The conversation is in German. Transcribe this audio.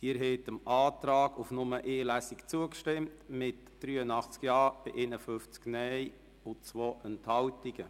Sie haben dem Antrag auf Durchführung von nur einer Lesung zugestimmt mit 83 Ja- gegen 51 Nein-Stimmen bei 2 Enthaltungen.